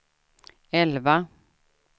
elva